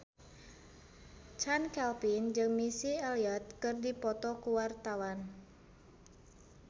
Chand Kelvin jeung Missy Elliott keur dipoto ku wartawan